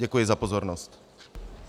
Děkuji za pozornost.